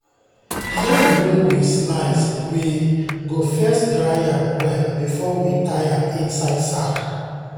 yam wey we slice we go first dry am well before we tie am inside sack.